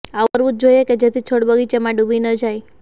આવું કરવું જ જોઈએ કે જેથી છોડ બગીચામાં ડૂબી ન જાય